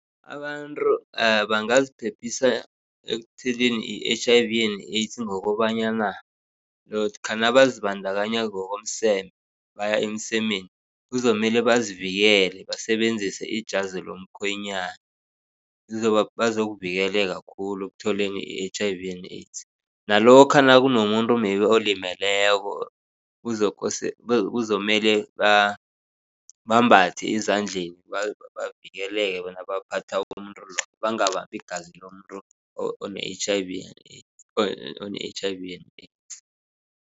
Abantu bangaziphephisa ekutheleni yi-H_I_V and AIDS ngokobanyana lokha nabazibandakanya ngokomseme baya emsemeni kuzokumele bazivikele basebenzise ijazi lomkhwenyana. Bazokuvikeleka khulu ekutholeni i-H_I_V and AIDS. Nalokha nakunomuntu maybe olimeleko, kuzokumele bambathe ezandleni bavikeleke nabaphatha umuntu loyo bangabambi igazi lomuntu one-H_I_V and AIDS one-H_I_V and AIDS.